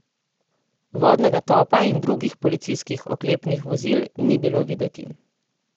Vodnega topa in drugih policijskih oklepnih vozil ni bilo videti.